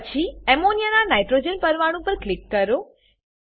પછી અમોનિયા ના નાઇટ્રોજન પરમાણુ પર ક્લિક કરો